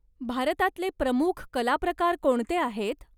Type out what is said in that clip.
भारतातले प्रमुख कलाप्रकार कोणते आहेत?